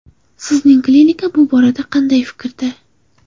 Sizning klinika bu borada qanday fikrda?